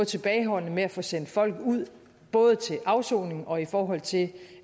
tilbageholdende med at få sendt folk ud både til afsoning og i forhold til